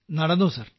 നടന്നു സർ